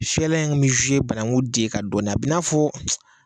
Fiyɛlan kun mi banaku den kan dɔɔnin a bi n'a fɔ.